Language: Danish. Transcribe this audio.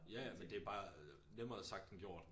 Ja ja men det bare nemmere sagt end gjort